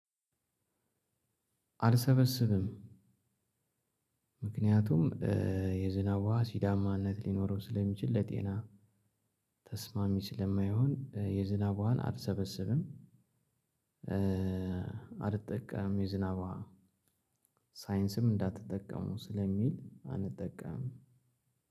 አልሰበስብም ምክንያቱም እ የዝናቡ አሲዳማነት ሊኖረው ስለሚችል ለጤና ተስማሚ ስለማይሆን የዝናብ ውሃን አልሰበስብም። እ አልተጠቀምም የዝናብ ውሃ ሳይንስም እንዳትጠቀሙ ስለሚል አንጠቀምም።